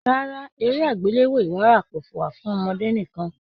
Rárá, eré agbelewo ìwárà kò wà fún ọmọdé nìkan.